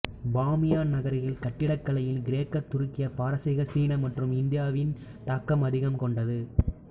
பாமியான் நகரக் கட்டிடக் கலையில் கிரேக்க துருக்கிய பாரசீக சீன மற்றும் இந்தியாவின் தாக்கம் அதிகம் கொண்டது